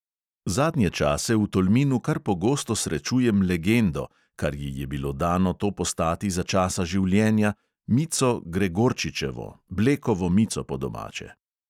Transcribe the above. Zadnje čase v tolminu kar pogosto srečujem legendo, kar ji je bilo dano to postati za časa življenja, mico gregorčičevo, blekovo mico po domače.